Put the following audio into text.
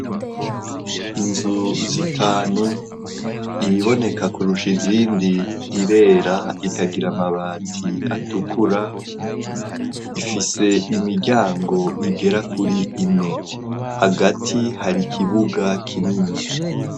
Izu zitanu iyiboneka kurusha izindi irera, ikagira amabati atukura, ifise imiryango igera kuri ine; hagati hari kibuga kinini.